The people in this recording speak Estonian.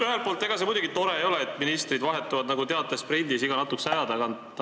Ühelt poolt, ega see muidugi tore ei ole, et ministrid vahetuvad nagu teatesprindis iga natukese aja tagant.